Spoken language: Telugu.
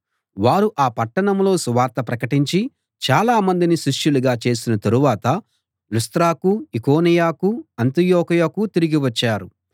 వారు ఆ పట్టణంలో సువార్త ప్రకటించి చాలా మందిని శిష్యులుగా చేసిన తరువాత లుస్త్రకూ ఈకొనియకూ అంతియొకయకూ తిరిగి వచ్చారు